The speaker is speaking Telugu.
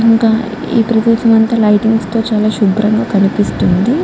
ఇంకా ఈ ప్రదేశం అంతా లైటింగ్స్ తో చాలా శుబ్రంగా కనిపిస్తుంది.